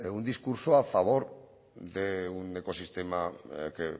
un discurso a favor de un ecosistema que